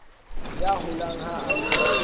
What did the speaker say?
ya holang ha a le